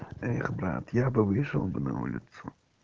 эх брат я бы вышел бы на улицу